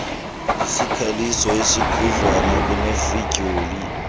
isikhaliso esikhudlwana kunefidyoli